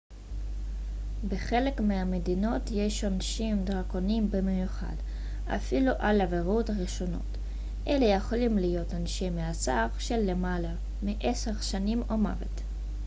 בחלק מהמדינות יש עונשים דרקוניים במיוחד אפילו על עבירות ראשונות אלה יכולים להיות עונשי מאסר של למעלה מ-10 שנים או מוות